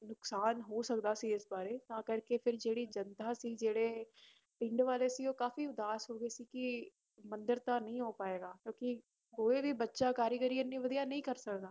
ਨੁਕਸਾਨ ਹੋ ਸਕਦਾ ਸੀ ਇਸ ਬਾਰੇ ਤਾਂ ਕਰਕੇ ਫਿਰ ਜਿਹੜੀ ਸੀ ਜਿਹੜੇ ਪਿੰਡ ਵਾਲੇ ਸੀ ਉਹ ਕਾਫ਼ੀ ਉਦਾਸ ਹੋ ਗਏ ਸੀ ਕਿ ਮੰਦਿਰ ਤਾਂ ਨਹੀਂ ਹੋ ਪਾਏਗਾ ਕਿਉਂਕਿ ਕੋਈ ਵੀ ਬੱਚਾ ਕਾਰੀਗਰੀ ਇੰਨੀ ਵਧੀਆ ਨਹੀਂ ਕਰ ਸਕਦਾ